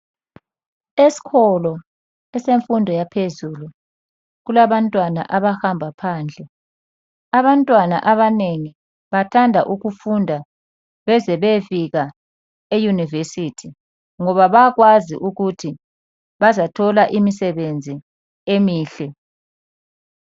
Eskolo esemfundo yaphezulu kulabantwana abahamba phandle . Abantwana abanengi bathanda ukufunda beze beyefika e university ngoba bayakwazi ukuthi bazathola imisebenzi emihle.